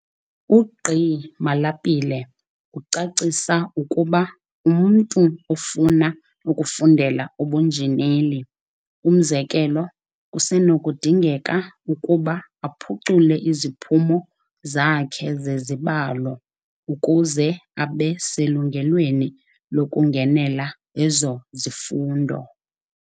UGqi Malapile ucacisa ukuba umntu ofuna ukufundela ubunjineli, umzekelo, kusenokudingeka ukuba aphucule iziphumo zakhe zezibalo ukuze abe selungelweni lokungenela ezo zifundo.